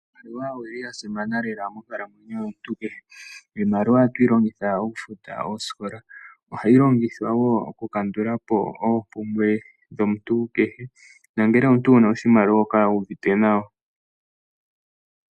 Iimaliwa oyili yasimana lela monkalamwenyo yomuntu kehe. Iimaliwa ohatuyi longitha oku futa oosikola. Ohayi longithwa wo oku kandulapo oompumbwe dhomuntu kehe. Nangele omuntu wuna oshimaliwa oho kala wu uvite nawa.